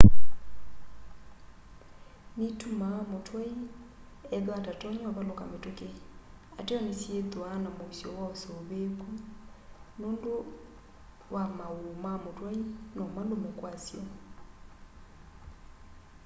nitumaa mutwai ethwa atatonya uvaluka mituki ateo ni syithwaa na muisyo wa usuvííku nundu wa maúú ma mutwai nomalume kwasyo